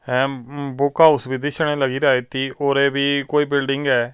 Hem book house ਵੀ ਦਿਸਣੇ ਲੱਗਰਿਆ ਅਤਿ ਉਰੇ ਵੀ ਕੋਈ ਬਿਲਡਿੰਗ ਹੈ।